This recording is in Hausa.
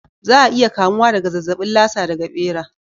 Za a iya kamuwa daga zazzabin Lasa daga ɓera.